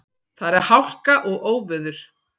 Þar er hálka og óveður.